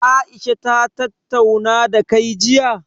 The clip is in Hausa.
Aisha ta tattauna dakai jiya?